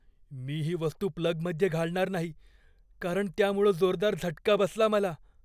मी ही वस्तू प्लगमध्ये घालणार नाही कारण त्यामुळं जोरदार झटका बसला मला.